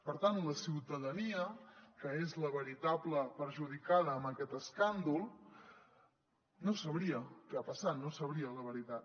per tant la ciutadania que és la veritable perjudicada en aquest escàndol no sabria què ha passat no sabria la veritat